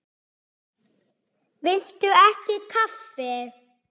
Viltu ekki kaffi?